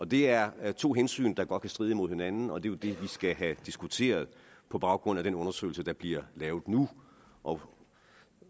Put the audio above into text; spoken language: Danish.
det er er to hensyn der godt kan stride imod hinanden og det er jo det vi skal have diskuteret på baggrund af den undersøgelse der bliver lavet nu og